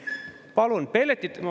Ma palusin lisaaega, on ju.